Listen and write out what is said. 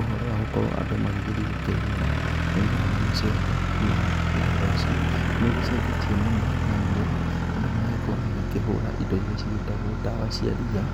Ũhoro wa gũkorwo andũ magĩgĩthiĩ kũrĩmĩra mĩmera na macembe na theci nĩ ũgĩcenjetie mũno nĩamu rĩu andũ maragĩkorwo magĩkĩhura indo irĩa cigĩtagwo ndawa cia ria